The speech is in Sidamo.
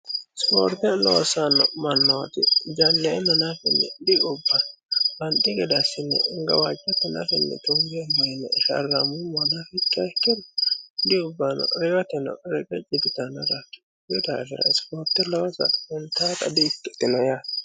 ispoorte loossanno mannooti janneenna nafanni di ubbanno banxi gede assine gawajjate nafa tungeemmo yine sharrammummoha nafa ikkiro di ubbanno reyooteno reqecci diyitanno konni daafira ispoorte loosa huntannota di ikkitino yaate.